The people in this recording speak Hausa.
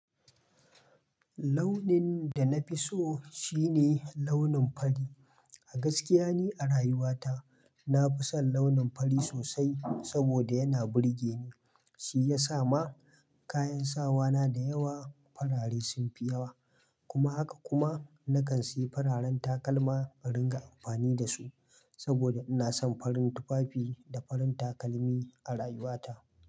Launin da na fi so shine launin fari. A gaskiya ne a rayuwata na fi son launin fari sosai saboda yana burge ni. Shi ya sa ma kayan sawa na da yawa farare sun fi yawa. Kuma haka kuma na kan siyi fararen takalma in ringa amfani da su saboda ina son farin tufafi da farin takalmi a rayuwata.